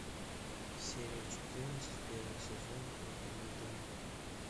серия четырнадцать первый сезон ханна монтана